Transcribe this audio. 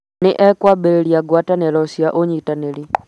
Nĩ ekwambĩrĩria ngwatanĩro cia ũnyitanĩri